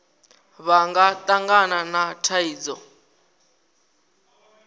vha nga tangana na thaidzo